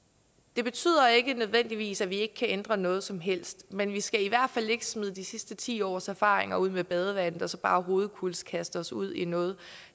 det betyder ikke nødvendigvis at vi ikke kan ændre noget som helst men vi skal i hvert fald ikke smide de sidste ti års erfaringer ud med badevandet og så bare hovedkulds kaste os ud i noget